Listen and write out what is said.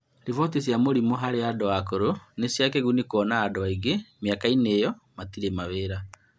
Riboti cia mĩrimũ harĩ andũ akũrũ nĩ cia kĩguni kuona andũ aingĩ mĩaka inĩ iyo matirĩ mawĩra